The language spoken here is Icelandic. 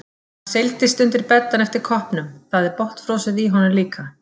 Hann seilist undir beddann eftir koppnum, það er botnfrosið í honum líka.